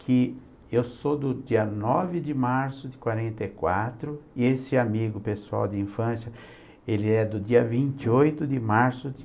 que eu sou do dia nove de março de quarenta e quatro e esse amigo pessoal de infância, ele é do dia vinte e oito de março de .